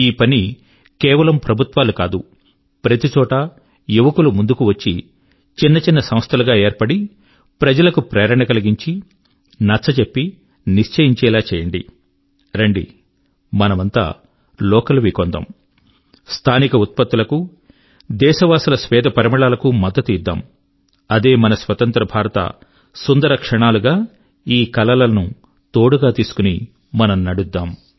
ఈ పని కేవలం ప్రభుత్వాలు కాదు ప్రతిచోటా యువకులు ముందుకు వచ్చి చిన్న చిన్న సంస్థలు గా ఏర్పడి ప్రజల కు ప్రేరణ కలిగించి నచ్చజెప్పి నిశ్చయింఛేలా చేయండి రండి మనమంత లోకల్ వి కొందాము స్థానిక ఉత్పత్తుల కు దేశవాసుల స్వేద పరిమళాల కు మద్దతు ఇద్దాము అదే మన స్వతంత్ర భారతం యొక్క స్వర్ణిమ ఘడియగా ఈ కలల ను తోడుగా తీసుకుని మనం నడుద్దాం